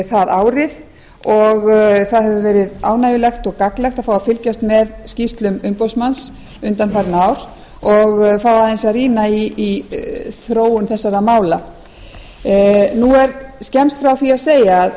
það árið og það hefur verið ánægjulegt og gagnlegt að fá að fylgjast með skýrslum umboðsmanns undanfarin ár og fá aðeins að rýna í þróun þessara mála nú er skemmst frá því að segja